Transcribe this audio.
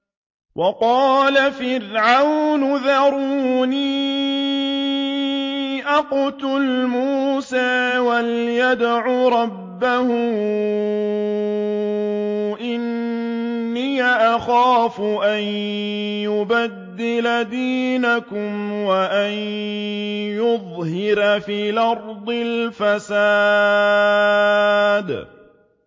وَقَالَ فِرْعَوْنُ ذَرُونِي أَقْتُلْ مُوسَىٰ وَلْيَدْعُ رَبَّهُ ۖ إِنِّي أَخَافُ أَن يُبَدِّلَ دِينَكُمْ أَوْ أَن يُظْهِرَ فِي الْأَرْضِ الْفَسَادَ